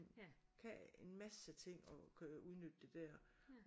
Kan en masse ting og kan udnytte det der